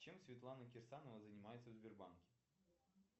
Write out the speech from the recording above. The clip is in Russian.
чем светлана кирсанова занимается в сбербанке